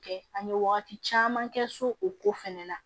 Kɛ an ye wagati caman kɛ so o ko fɛnɛ na